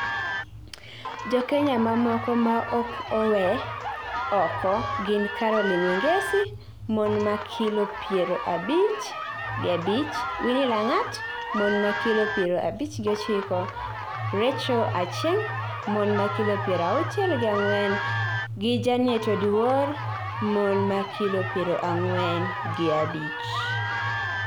Jokenya mamoko maok owe oko gin Caroline Wangeci (mon ma kilo piero abich gi abich), Winny Langat (mon ma kilo piero abich gi ochiko), Rachael Achieng (mon ma kilo piero auchiel gi ang'wen) and Janet Oduor (mon ma kilo piero ang'wen gi abich).